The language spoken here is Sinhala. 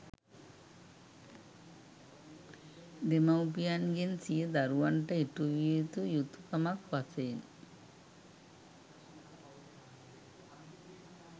දෙමව්පියන්ගෙන් සිය දරුවන්ට ඉටු විය යුතු යුතුකමක් වශයෙන්